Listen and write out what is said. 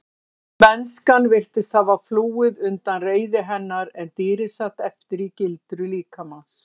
Mennskan virtist hafa flúið undan reiði hennar en dýrið sat eftir í gildru líkamans.